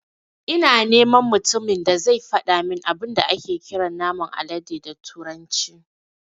Ina neman mutumin da zai fadamin abin da ake kiran naman alade da turanci